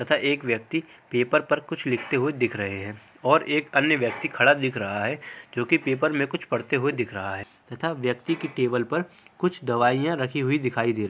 तथा एक व्यक्ति पेपर पर कुछ लिखते हुए दिख रहे हैं और एक अन्य व्यक्ति खड़ा दिख रहा है क्योंकि पेपर में कुछ पढ़ते हुए दिख रहा है तथा व्यक्ति की टेबल पर कुछ दवाइयां रखी हुई दिखाई दे रही --